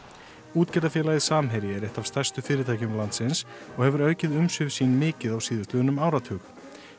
útgerðarfélagið Samherji er eitt af stærstu fyrirtækjum landsins og hefur aukið umsvif sín mikið á síðastliðnum áratug